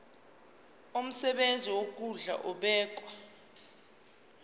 umsebenzi wokondla ubekwa